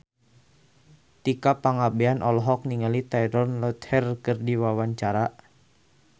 Tika Pangabean olohok ningali Taylor Lautner keur diwawancara